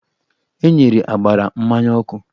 E nyere ágbárá mmanya ọkụ